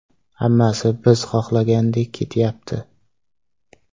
Hammasi biz xohlagandek ketyapti.